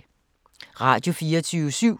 Radio24syv